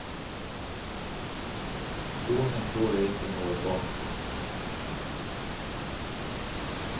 Kloning tror jeg ikke noe på.